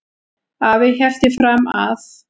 Afi hélt því fram að